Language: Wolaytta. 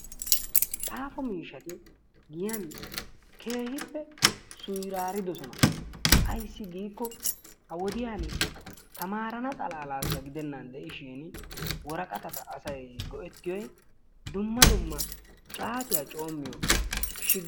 Xaafo miishshati giyaa keehippe suyraaridoosona. Ayssi giiko ha wodiyaan taamarana xalaalasi gidenan de'iishin worqqatat asay go"ettiyoy dumma dumma caatiyaa coommiyoo shi